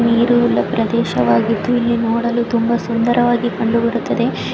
ನೀರುವುಳ್ಳ ಪ್ರದೇಶವಾಗಿದ್ದು ಇಲ್ಲಿ ನೋಡಲು ತುಂಬಾ ಸುಂದರವಾಗಿ ಕಂಡು ಬರುತದೆ.